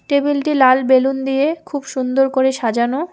Table -টি লাল বেলুন দিয়ে খুব সুন্দর করে সাজানো।